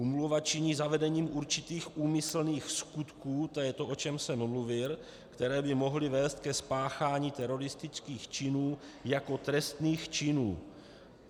Úmluva činí zavedením určitých úmyslných skutků, to je to, o čem jsem mluvil, které by mohly vést ke spáchání teroristických činů jako trestných činů.